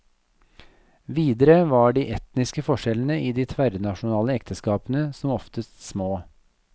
Videre var de etniske forskjellene i de tverrnasjonale ekteskapene som oftest små.